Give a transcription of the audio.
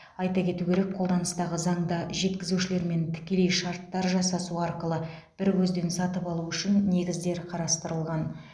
айта кету керек қолданыстағы заңда жеткізушілермен тікелей шарттар жасасу арқылы бір көзден сатып алу үшін негіздер қарастырылған